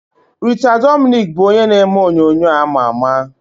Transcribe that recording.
Rita Dominic bụ onye na-eme onyonyo ama ama.